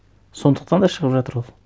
сондықтан да шығып жатыр ол